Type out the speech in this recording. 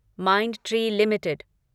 Mindtree limited